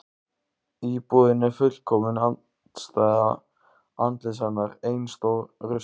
Íbúðin er fullkomin andstæða andlits hennar: Ein stór rusla